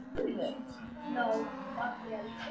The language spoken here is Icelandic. Hvað er að gerast hérna fyrir aftan okkur?